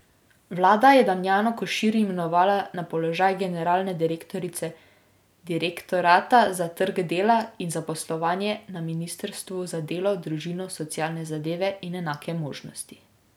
Vlada je Damjano Košir imenovala na položaj generalne direktorice direktorata za trg dela in zaposlovanje na ministrstvu za delo, družino, socialne zadeve in enake možnosti.